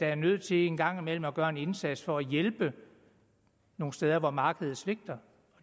er nødt til en gang imellem at gøre en indsats for at hjælpe nogle steder hvor markedet svigter